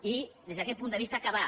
i des d’aquest punt de vista acabar